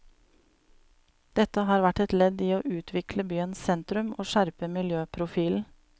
Dette har vært et ledd i å utvikle byens sentrum og skjerpe miljøprofilen.